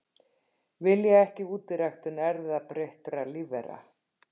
Vilja ekki útiræktun erfðabreyttra lífvera